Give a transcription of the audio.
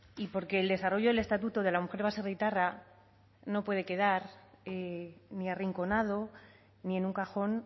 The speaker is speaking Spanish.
y porque el desarrollo del estatuto de la mujer baserritarra no puede quedar ni arrinconado ni en un cajón